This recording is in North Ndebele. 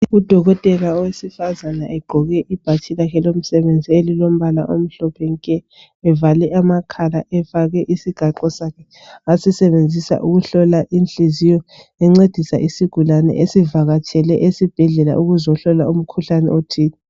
Udokotela owesifazana, egqoke ibhatshi lakhe lomsebenzi, elilombala omhlophe nke! Evale amakhala, efake isigaxo sakhe, asisebenzisa ukuhlola inhliziyo. Encedisa isigulane, esivakatshele esibhedlela ukuzahlolwa umkhuhlane othile.